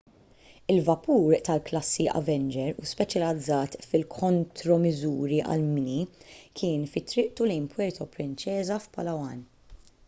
il-vapur tal-klassi avenger u speċjalizzat fil-kontromiżuri għall-mini kien fi triqtu lejn puerto princesa f'palawan